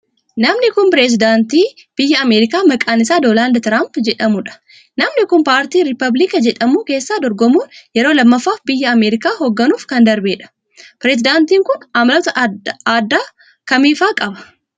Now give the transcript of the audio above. Namni kun, pireezidantii biyya Ameerikaa maqaan isaa Doonaald Tiraamp jedhamuu dha. Namni kun, paartii rippaabilika jedhamu keessaa dorgomuun yeroo lammaffaaf biyya Ameerikaa hoogganuuf kan darbee dha. Pireezidantiin kun, amaloota addaa akka kamii faa qaba?